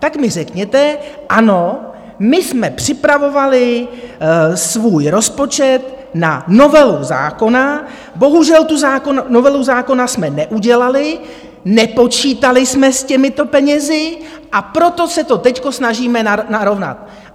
Tak mi řekněte: Ano, my jsme připravovali svůj rozpočet na novelu zákona, bohužel tu novelu zákona jsme neudělali, nepočítali jsme s těmito penězi, a proto se to teď snažíme narovnat.